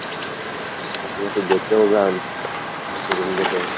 আপনি নাকি date এও যান, শুনছি room date এ।